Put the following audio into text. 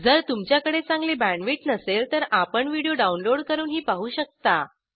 जर तुमच्याकडे चांगली बॅण्डविड्थ नसेल तर आपण व्हिडिओ डाउनलोड करूनही पाहू शकता